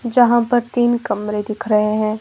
जहां पर तीन कमरे दिख रहे हैं।